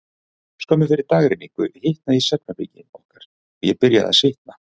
Skömmu fyrir dagrenningu hitnaði í svefnherbergi okkar, og ég byrjaði að svitna.